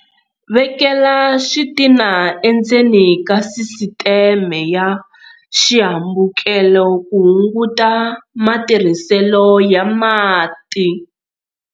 Vekela xitina endzeni ka sisiteme ya xihambukelo ku hunguta matirhiselo ya mati.